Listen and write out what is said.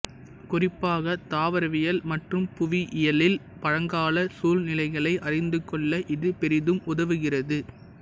குறிப்பாக தாவரவியல் மற்றும் புவியியலில் பழங்கால சூழ்நிலைகளை அறிந்துகொள்ள இது பெரிதும் உதவுகிறது